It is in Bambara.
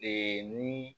Ee ni